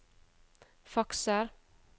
fakser